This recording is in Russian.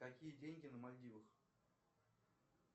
какие деньги на мальдивах